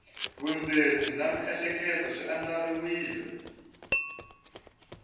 vundzeni na miehleketo swi andlariwile